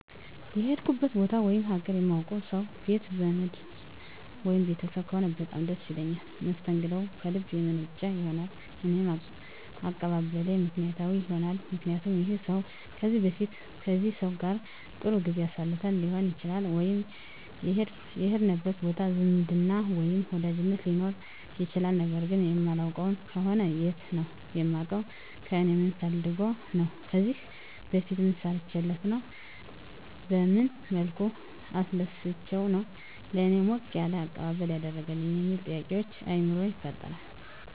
የሄድኩበት ቦታ ወይም ሀገር የማውቀው ሰው ቤት ዘመድ ወይም ቤተሰብ ከሆነ በጣም ደስ ይለኛል መስተንግደውም ከልብ የመነጨ ይሆናል እኔም አቀባበሌ ምክንያታዊ ይሆናልምክንያቱም ይህን ሰው ከዚህ በፊት ከዚህ ሰው ጋር ጥሩ ጊዜ አሳልፈን ሊሆን ይችላል ወይም የሄድንበት ቦታ ዝምድና ወይም ወዳጅነት ሊኖረን ይችላል ነገር ግን የማላውቀው ከሆነ የት ነው የማውቀው ከእኔ ምን ፈልጎ ነው ከዚህ በፊት ምን ሰርቸለት ነው በመን መልኩ አስደስቸው ነው ለእኔ ሞቅ ያለ አቀባበል ያደረገልኝ የሚሉ ጥያቄዎች በአይምሮየ ይፈጠራል